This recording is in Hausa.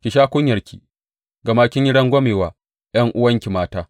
Ki sha kunyarki, gama kin yi rangwame wa ’yan’uwanki mata.